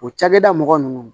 O cakɛda mɔgɔ nunnu